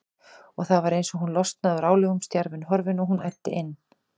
Og það var eins og hún losnaði úr álögum, stjarfinn horfinn, og hún æddi inn.